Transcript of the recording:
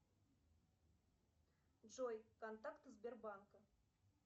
джой контакты сбербанка